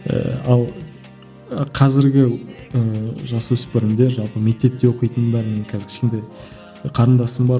ііі ал қазіргі ііі жасөспірімдер жалпы мектепте оқитындар міне қазір кішкентай қарындасым бар